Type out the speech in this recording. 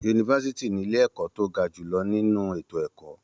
Yunifásítì ní ilé ẹ̀kọ́ tó ga jùlọ nínú ètò ẹ̀kọ́.